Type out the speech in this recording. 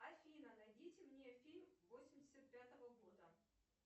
афина найдите мне фильм восемьдесят пятого года